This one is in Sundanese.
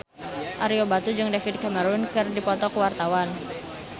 Ario Batu jeung David Cameron keur dipoto ku wartawan